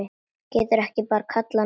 Geturðu ekki bara kallað niður?